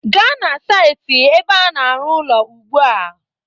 Gaa na saịtị ebe a na-arụ ụlọ ugbu a